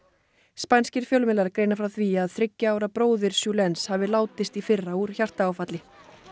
spænskir fjölmiðlar greina frá því að þriggja ára bróðir Julens hafi látist í fyrra úr hjartaáfalli